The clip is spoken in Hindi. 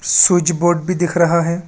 स्विच बोर्ड भी दिख रहा है।